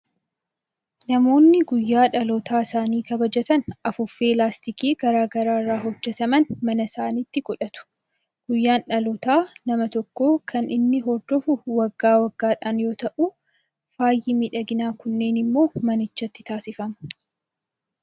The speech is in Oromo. Namoonni guyyaa dhaloota isaanii kabajatan afuuffee laastikii garaa garaa irraa hojjetaman mana isaaniitti godhatu. Guyyaan dhalootaa nama tokkoo kan inni hordofu wagga waggaadhaan yoo ta'u, faayi miidhaginaa kunneen immoo manichatti taasifamu.